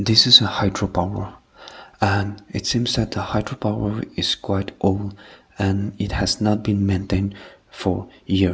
this is a hydro power and it seems that hydro power is quite old and has been maintain for years.